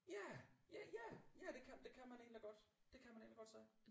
Ja ja ja ja det kan det kan man egentlig godt det kan man egentlig godt sige